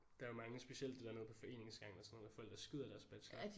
Der er jo mange specielt det der nede på foreningsgangen og sådan hvor folk der skyder deres bachelor